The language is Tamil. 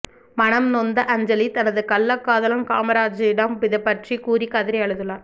மனம் நொந்த அஞ்சலி தனது கள்ளக்காதலன் காமராஜிடம் இதுபற்றி கூறி கதறி அழுதுள்ளார்